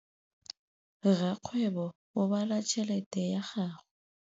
Rakgwêbô o bala tšheletê ya gagwe.